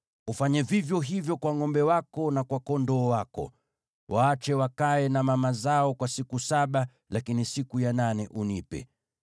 Ufanye vivyo hivyo kwa ngʼombe wako na kwa kondoo wako. Waache wakae na mama zao kwa siku saba, lakini siku ya nane unipe.